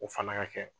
O fana ka kɛ